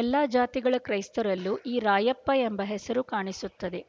ಎಲ್ಲ ಜಾತಿಗಳ ಕ್ರೈಸ್ತರಲ್ಲೂ ಈ ರಾಯಪ್ಪ ಎಂಬ ಹೆಸರು ಕಾಣಿಸುತ್ತದೆ